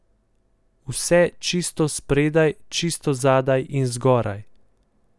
Vse čisto spredaj, čisto zadaj in zgoraj.